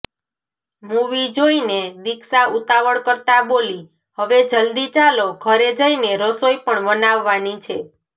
movie જોઈને દીક્ષા ઉતાવળ કરતાં બોલી હવે જલ્દી ચાલો ઘરે જઈને રસોઈ પણ બનાવવાની છે